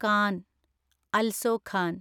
can (also Khan)